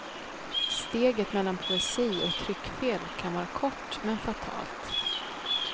Steget mellan poesi och tryckfel kan vara kort men fatalt.